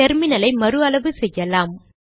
டெர்மினலை மறு அளவு செய்வோம்